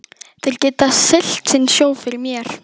Þeir geta siglt sinn sjó fyrir mér.